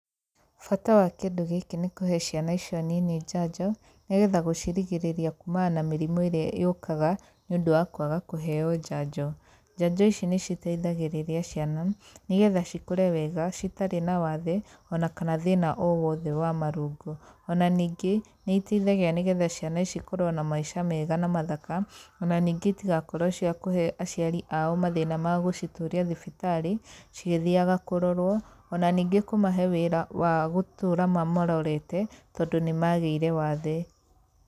Bata wa kĩndũ gĩkĩ nĩ kũhe ciana icio nini njanjo, nĩgetha gũcirigĩrĩria kumana na mĩrmũ ĩrĩa yũkaga nĩ ũndũ wa kwaga kũheo njanjo. Njanjo ici nĩciteithagĩrĩria ciana nĩgetha cikũre wega citarĩ na wathe ona kana thĩna o wothe wa marũngo. Ona ningĩ, nĩiteithagia nĩgetha ciana ici cikorwo na maica mega na mathaka ona ningĩ itigakorwo cia kũhe aciari ao mathĩna mao ma gũcitũria thibitarĩ cigĩthiaga kũrorwo ona ningĩ kũmahe wĩra wa gũtũra mamarorete tondũ nĩmagĩire wathe.